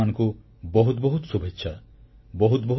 ଆପଣମାନଙ୍କୁ ବହୁତ ବହୁତ ଶୁଭେଚ୍ଛା